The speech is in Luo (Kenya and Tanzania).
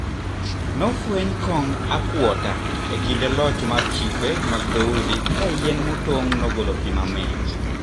Nofweny kong akwota e kinde loch mar chife mag dhoudi kayien motong` nogolo pii mamit.